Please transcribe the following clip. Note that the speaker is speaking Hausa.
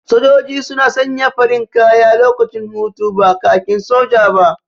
Sojoji suna sanya farin kaya lokacin hutu, ba kakin soja ba.